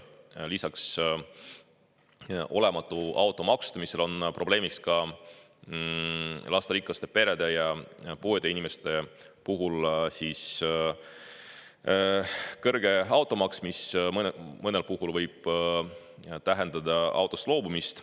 Lisaks olematu auto maksustamisele on probleemiks lasterikaste perede ja puuetega inimeste puhul kõrge automaks, mis mõnel puhul võib tähendada autost loobumist.